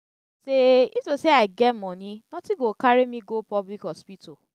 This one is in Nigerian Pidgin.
if to say if to say i get money nothing go carry me go public hospital